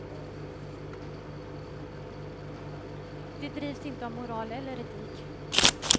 De drivs inte av moral eller etik.